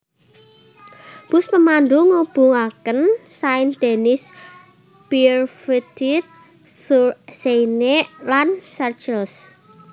Bus pemandu ngubungaken Saint Denis Pierrefitte sur Seine lan Sarcelles